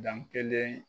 Dan kelen